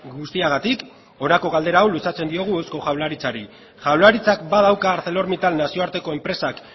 guztiagatik honako galdera hau luzatzen diogu eusko jaurlaritzari jaurlaritzak badauka arcelormittal nazioarteko enpresak